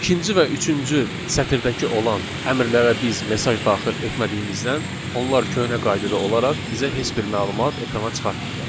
İkinci və üçüncü sətirdəki olan əmrlərə biz mesaj daxil etmədiyimizdən onlar köhnə qaydada olaraq bizə heç bir məlumat ekrana çıxartmırlar.